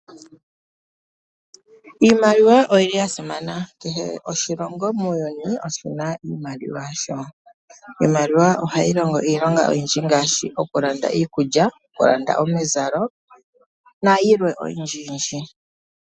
Iimaliwa oyili ya simana, kehe oshilongo muuyuni oshina iimaliwa yasho. Iimaliwa ohayi longo iilonga oyindji ngaashi, okulanda iikulya, okulanda omizalo, nayilwe oyindjiyindji.